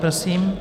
Prosím.